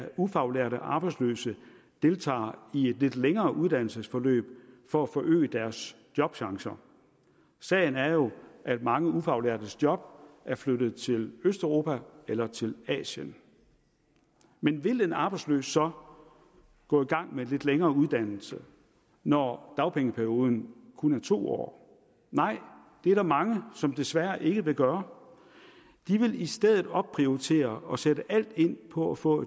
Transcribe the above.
ufaglærte arbejdsløse deltager i et lidt længere uddannelsesforløb for at forøge deres jobchance sagen er jo at mange ufaglærte job er flyttet til østeuropa eller til asien men vil en arbejdsløs så gå i gang med en lidt længere uddannelse når dagpengeperioden kun er to år nej det er der mange som desværre ikke vil gøre de vil i stedet opprioritere og sætte alt ind på at få